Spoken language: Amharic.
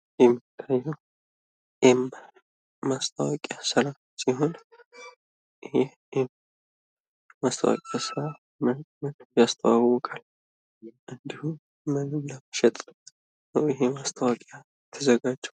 ኤም ማስታወቂያ ስራ ሲሆን። የ ኤም ማስታወቂያ ምን ምን ያስተዋውቃል? እንድሁም ምንን ለመሸጥ ነው ይሄ ማስታወቂያ የተዘጋጀው?